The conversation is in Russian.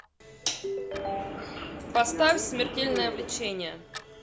поставь смертельное влечение